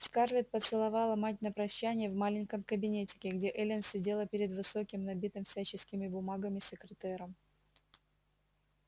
скарлетт поцеловала мать на прощанье в маленьком кабинетике где эллин сидела перед высоким набитым всяческими бумагами секретером